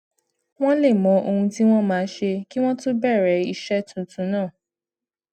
wón lè mọ ohun tí wón máa ṣe kí wón tó bèrè iṣé tuntun náà